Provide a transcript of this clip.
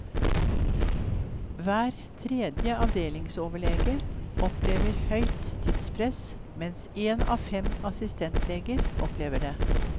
Hver tredje avdelingsoverlege opplever høyt tidspress, mens én av fem assistentleger opplever det.